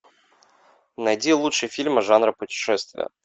найди лучшие фильмы жанра путешествие